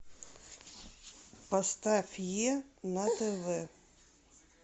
поставь е на тв